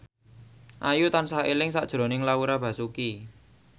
Ayu tansah eling sakjroning Laura Basuki